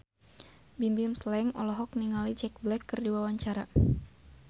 Bimbim Slank olohok ningali Jack Black keur diwawancara